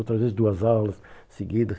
Outras vezes duas aulas seguidas.